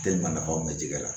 nafa mɛ ji la